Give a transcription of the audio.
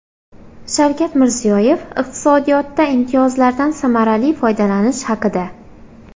Shavkat Mirziyoyev iqtisodiyotda imtiyozlardan samarali foydalanish haqida.